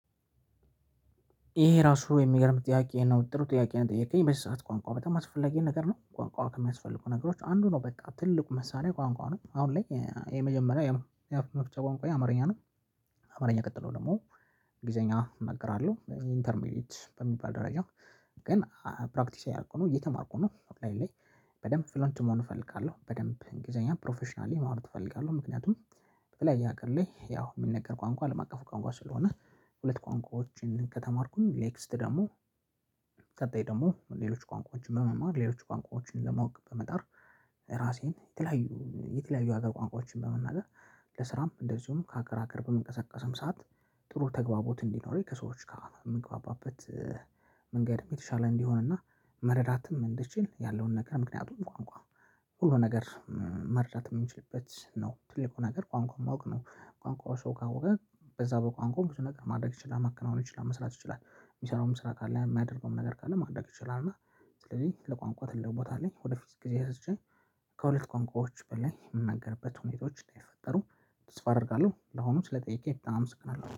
ይሄ ራሱ የሚገርም ጥያቄ ነው ጥሩ ጥያቄ ነው የጠየከኝ በዚህ ሰዓት ቋንቋ በጣም አስፈላጊ ነገር ነው ቋንቋ ከሚያስፈልጉ ነገሮች አንዱ ነው በቃ ትልቁ መሳሪያ ቋንቋ ነው አሁን ላይ የመጀመሪያው የአፍ መፍቻ ቋንቋዬ አማርኛ ነው ይሄ ራሱ የሚገርም ጥያቄ ነው ጥሩ ጥያቄ ነው የጠየከኝ በዚህ ሰዓት ቋንቋ በጣም አስፈላጊ ነገር ነው ቋንቋ ከሚያስፈልጉ ነገሮች አንዱ ነው በቃ ትልቁ መሳሪያ ቋንቋ ነው አሁን ላይ የመጀመሪያው የአፍ መፍቻ ቋንቋዬ አማርኛ ነው አማርኛ ቀጥሎ ደግሞ እንግሊዘኛ እናግራለሁ ኢንተር ሚዲት በሚባል ደረጃ ግን ፕራክቲስ ያልደረኩ ነው እየተማርኩ ነው አሁን ላይ በደንብ ፍሎንት መሆን እፈልጋለሁ በደንብ እንግሊዘኛ ፕሮፌሽናሊ ማውራት እፈልጋለሁ ምክንያቱም በቀላይ ያቀር ላይ ያው የምነገር ቋንቋ ለማቀፉ ቋንቋ ስለሆነ ሁለት ቋንቋዎችን ከተማርኩኝ ኔክስት ደግሞ ቀጣይ ደግሞ ሌሎች ቋንቋዎችን በመማር ሌሎች ቋንቋዎችን ለማወቅ በመጣር ራሴን የተለያዩ የተለያዩ ሀገር ቋንቋዎችን በመናገር መንገድም የተሻለ እንዲሆንና መረዳትም እንድችል ያለውን ነገር ምክንያቱም ቋንቋ ሁሉ ነገር መረዳት የምንችልበት ነው ትልቁ ነገር ቋንቋውን ማወቅ ነው ቋንቋው ሰው ካወቀ በዛ በቋንቋው ብዙ ነገር ማድረግ ይችላል ማከናወን ይችላል መስራት ይችላል የሚሰራውም ስራ ካለ የሚያደርገውም ነገር ካለ ማድረግ ይችላል እና ስለዚህ ለቋንቋ ትልቅ ቦታ አለኝ ወደፊት ጊዜ ወስጄ ከሁለት ቋንቋዎች በላይ የምነገርበት ሁኔታዎችን እንደሚፈጠሩ ተስፋ አደርጋለሁ ለሆኑ ስለጠየቀኝ በጣም አመሰግናለሁ።